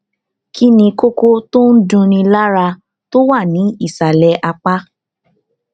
kí ni kókó tó ń dunni lára tó wà ní ìsàlẹ apá